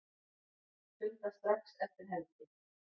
Funda strax eftir helgi